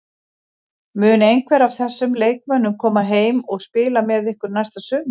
Mun einhver af þessum leikmönnum koma heim og spila með ykkur næsta sumar?